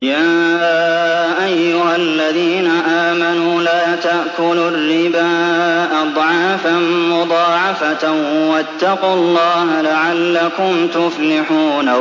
يَا أَيُّهَا الَّذِينَ آمَنُوا لَا تَأْكُلُوا الرِّبَا أَضْعَافًا مُّضَاعَفَةً ۖ وَاتَّقُوا اللَّهَ لَعَلَّكُمْ تُفْلِحُونَ